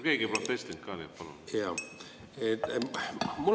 Keegi ei protestinud, nii et palun!